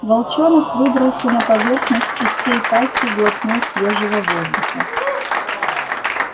волчонок выбрался на поверхность и всей пастью глотнул свежего воздуха